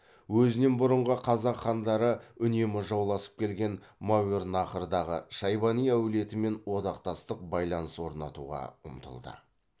өзінен бұрынғы қазақ хандары үнемі жауласып келген мауераннахрдағы шайбани әулетімен одақтастық байланыс орнатуға ұмтылды